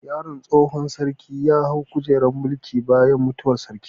Yaron tsohon sarki ya hau kujerar mulki bayan mutuwar sarkin